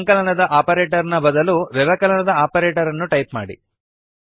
ಸಂಕಲನದ ಆಪರೇಟರ್ ನ ಬದಲು ವ್ಯವಕಲನದ ಆಪರೇಟರ್ಅನ್ನು ಟೈಪ್ ಮಾಡಿ